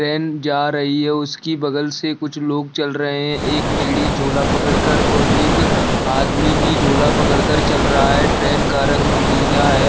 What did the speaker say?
Train जा रही है उसकी बगल से कुछ लोग चल रहें हैं एक लेडिस झोला पड़कर और एक आदमी भी झोला पकड़ कर चल रहा है ट्रेन का रंग नीला है।